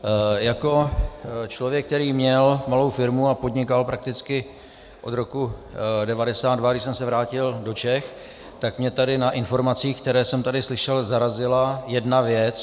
Jako člověk, který měl malou firmu a podnikal prakticky od roku 1992, když jsem se vrátil do Čech, tak mě tady na informacích, které jsem tady slyšel, zarazila jedna věc.